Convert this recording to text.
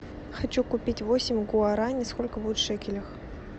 хочу купить восемь гуарани сколько будет в шекелях